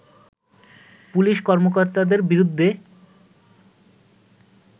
police কর্মকর্তাদের বিরুদ্ধে